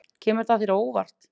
Kemur það þér á óvart?